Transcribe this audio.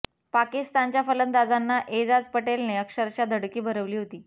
पाकिस्तानच्या फलंदाजांना एजाज पटेलने अक्षरशः धडकी भरवली होती